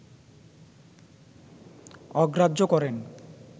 অগ্রাহ্য করেন